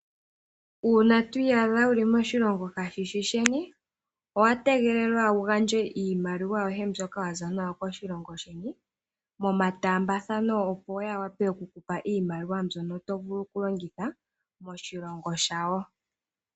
Uuna twiiyadha wuli moshilongo kashishi sheni, owa tegelelwa wu gandje iimaliwa yoye mbyoka wa za nayo koshilongo sheni momataambathano, opo ya wa pe okukupa iimaliwa mbyono to vulu okulongitha moshilongo shawo.